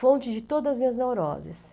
Fonte de todas as minhas neuroses.